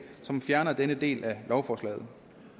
som fjerner denne del af lovforslaget